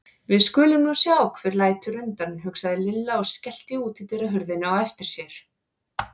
Við skulum nú sjá hver lætur undan, hugsaði Lilla og skellti útidyrahurðinni á eftir sér.